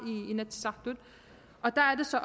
i inatsisartut og der er det så